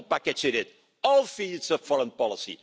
do and the bad news about climate change is that we don't do